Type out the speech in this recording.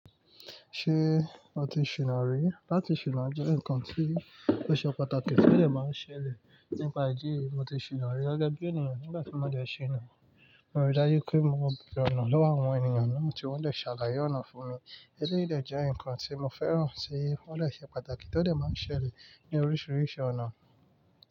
Ṣé o ti ṣìná rí? Lati ṣìná jẹ́ ǹkan tí ó ṣe pàtàkì tí ó lè máa ń ṣẹlẹ̀ nípa ìdí mo ti ṣìná rí. Gẹ́gẹ́ bí ènìyàn nígbà tí mo dẹ̀ ṣìná, mo rí dájú pé mo bẹ̀rẹ̀ ọ̀nà lọ́wọ́ àwọn ènìyàn náà tí wọ́n dè ṣàlàyé ọ̀nà fún mi. Eléyìí de jẹ́ ǹkan tí mo fẹ́ràn tí ọ́ dè ṣe pàtàkì tí ó dè máa ń ṣẹlẹ̀ ní oríṣiríṣi ọ̀nà.